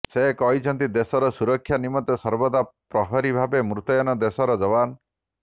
ସେ କହିଛନ୍ତି ଦେଶର ସୁରକ୍ଷା ନିମନ୍ତେ ସର୍ବଦା ପ୍ରହରୀ ଭାବେ ମୁତୟନ ଦେଶର ଜବାନ